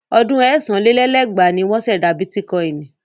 Ọdún ẹ̀sán lé lẹ́gbàá ni wọ́n ṣẹ̀dá bítíkọ́inì.